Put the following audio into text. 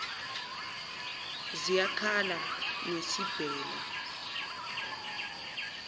ziyak hala ngesibhela